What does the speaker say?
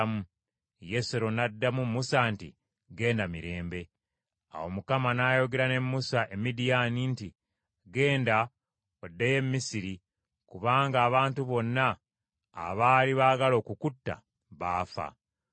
Musa n’addira mukyala we n’abaana be, n’abassa ku ndogoyi, n’asitula okuddayo mu nsi y’e Misiri, ng’akutte omuggo gwa Katonda mu ngalo ze.